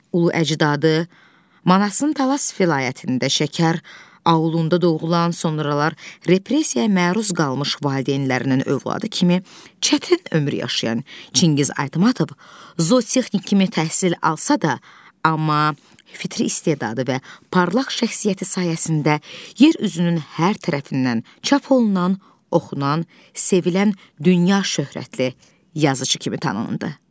Ulu əcdadı Manasın Talas vilayətində Şəkər aulunda doğulan, sonralar repressiyaya məruz qalmış valideynlərinin övladı kimi çətin ömür yaşayan Çingiz Aytmatov zootexnik kimi təhsil alsa da, amma fitri istedadı və parlaq şəxsiyyəti sayəsində yer üzünün hər tərəfindən çap olunan, oxunan, sevilən, dünya şöhrətli yazışı kimi tanındı.